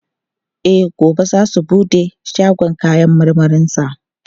E, gobe zai bude shagon kayan marmarinsa.